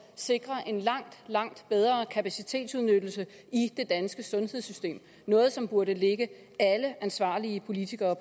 sikrer en langt langt bedre kapacitetsudnyttelse i det danske sundhedssystem noget som burde ligge alle ansvarlige politikere